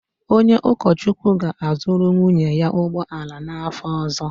Onye ụkọchukwu ga-azụrụ nwunye ya ụgbọ ala n’afọ ọzọ.